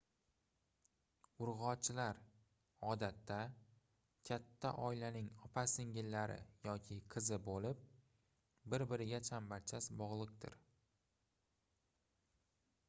urgʻochilar odatda katta oilaning opa-singillari yoki qizi boʻlib bir-biriga chambarchas bogʻliqdir